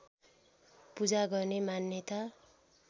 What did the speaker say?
पूजा गर्ने मान्यता